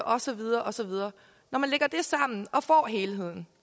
og så videre og så videre og får helheden